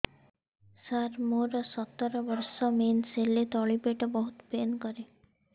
ସାର ମୋର ସତର ବର୍ଷ ମେନ୍ସେସ ହେଲେ ତଳି ପେଟ ବହୁତ ପେନ୍ କରେ